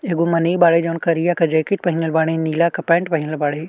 एगो मनइ बाड़े जौन करिया क जैकिट पहिनल बाड़े नीला क पैंट पहिनल बाड़े।